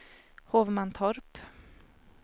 Hovmantorp